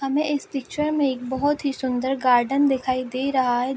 हमे इस पिक्चर में एक बहुत ही सुन्दर गार्डन दिखाई दे रहा हैं।